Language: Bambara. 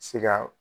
Se ka